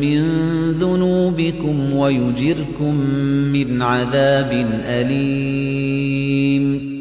مِّن ذُنُوبِكُمْ وَيُجِرْكُم مِّنْ عَذَابٍ أَلِيمٍ